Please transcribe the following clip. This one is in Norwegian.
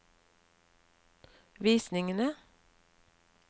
visningene